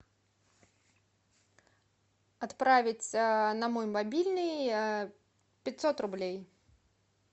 отправить на мой мобильный пятьсот рублей